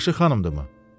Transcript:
Yaxşı xanımdırmı?